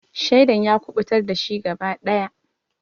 Shaidan ya kuɓutar dashi gaba daya.